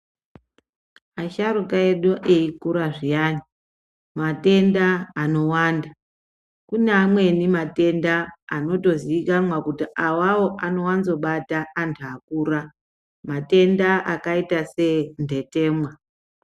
Asharuka edu eikura zviyani matenda anowanda kune amweni matenda anotoziwikanwa kuti awawo anotowanza kubata anhu akura, matenda akaita sendetemwa.